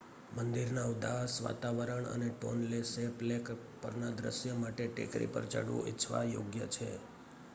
મંદિરના ઉદાસ વાતાવરણ અને ટોન્લે સૅપ લેક પરના દૃશ્ય માટે ટેકરી પર ચઢવું ઇચ્છવા યોગ્ય છે